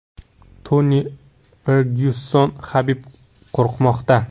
Toni Fergyuson: Habib qo‘rqmoqda.